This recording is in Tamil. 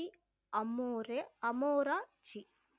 அம்மோரே அமோரா ஜி